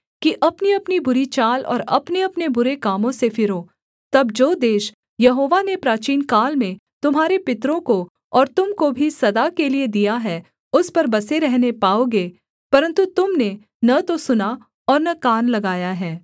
कि अपनीअपनी बुरी चाल और अपनेअपने बुरे कामों से फिरो तब जो देश यहोवा ने प्राचीनकाल में तुम्हारे पितरों को और तुम को भी सदा के लिये दिया है उस पर बसे रहने पाओगे परन्तु तुम ने न तो सुना और न कान लगाया है